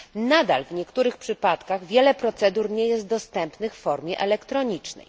Nadal w niektórych przypadkach wiele procedur nie jest dostępnych w formie elektronicznej.